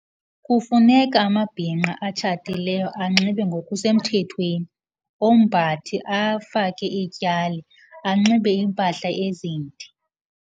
Kufuneka amabhinqa atshatileyo anxibe ngokusemthethweni, ombathe, afake iityali, anxibe iimpahla ezinde.